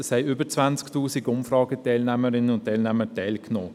Es nahmen über 20 000 Teilnehmerinnen und Teilnehmer daran teil.